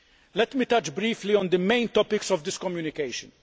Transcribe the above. Let me touch briefly on the main topics of this communication.